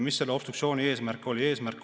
Mis selle obstruktsiooni eesmärk oli?